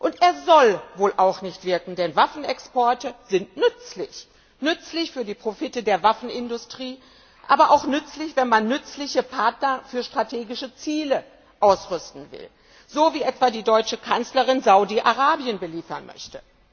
Und er soll wohl auch nicht wirken, denn Waffenexporte sind nützlich nützlich für die Profite der Waffenindustrie, aber auch nützlich, wenn man nützliche Partner für strategische Ziele ausrüsten will so wie etwa die deutsche Kanzlerin Saudi Arabien beliefern möchte.